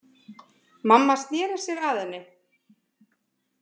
Mamma sneri sér að henni.